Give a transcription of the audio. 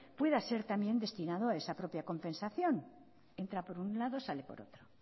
pueda ser también destinado a esa propia compensación entra por un lado y sale por otro